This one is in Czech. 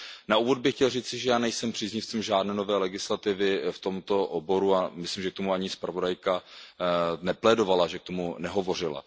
Na úvod bych chtěl říci, že já nejsem příznivcem žádné nové legislativy v tomto oboru a myslím, že o to ani zpravodajka nežádala, že k tomu nehovořila.